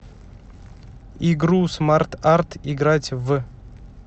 игру смарт арт играть в